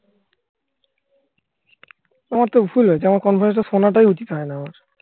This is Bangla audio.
আমার তো ভুল হয়েছে. আমার conference শোনাটাই উচিত হয় না